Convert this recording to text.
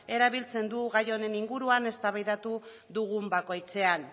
erabiltzen du gai honen inguruan eztabaidatu dugun bakoitzean